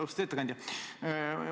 Austatud ettekandja!